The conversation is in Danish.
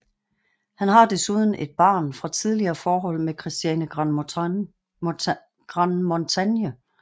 Han har desuden et barn fra tidligere forhold med Christiane Grandmontagne